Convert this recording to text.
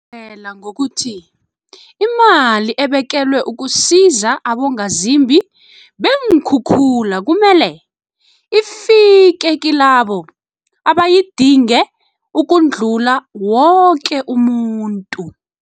Ungezelela ngokuthi imali ebekelwe ukusiza abongazimbi beenkhukhula kumele ifike kilabo abayidinge ukudlula woke umuntu.